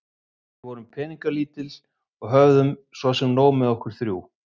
Við vorum peningalítil og höfðum svo sem nóg með okkur þrjú.